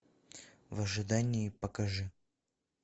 в ожидании покажи